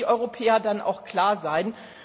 Da müssen die Europäer dann auch klar sein.